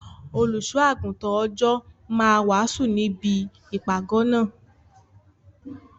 Olùṣọ́ -àgùntàn Òjó máa wàásù níbi ìpàgọ́ náà.